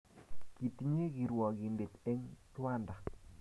Kitinye kirwakindet en rwanda